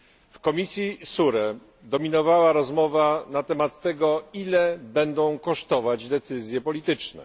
W komisji SURE dominowała rozmowa na temat tego, ile będą kosztować decyzje polityczne.